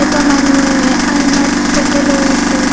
এটা মানুহে আইনাত ফটো লৈ আছে।